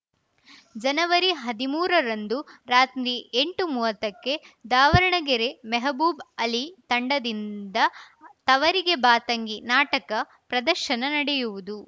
ಜನವರಿಹದಿಮೂರರಂದು ರಾತ್ರಿ ಎಂಟುಮೂವತ್ತಕ್ಕೆ ದಾವಣಗೆರೆ ಮೆಹಬೂಬ್‌ ಅಲಿ ತಂಡದಿಂದ ತವರಿಗೆ ಬಾ ತಂಗಿ ನಾಟಕ ಪ್ರದರ್ಶನ ನಡೆಯುವುದು